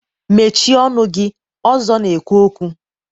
Mechịe ọnụ gị! Ọzọ na-ekwu okwu